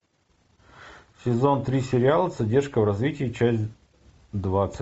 сезон три сериал задержка в развитии часть двадцать